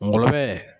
Ngɔlɔbɛ